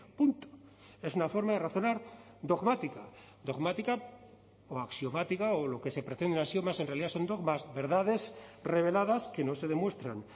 punto es una forma de razonar dogmática dogmática o axiomática o lo que se pretenda axiomas en realidad son dogmas verdades reveladas que no se demuestran